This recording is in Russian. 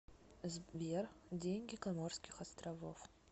сбер деньги коморских островов